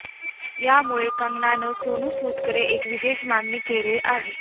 यामुळे कंगनानं सोनू सूदकडे एक विशेष मागणी केली आहे